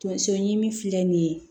Tonso ɲimi filɛ nin ye